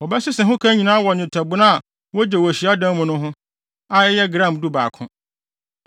Wɔbɛsese ho ka no nyinaa wɔ nnwetɛbona a wogye wɔ hyiadan mu no ho, a ɛyɛ gram dubaako.